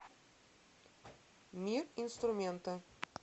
мир инструмента